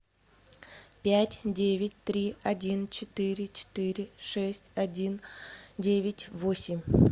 пять девять три один четыре четыре шесть один девять восемь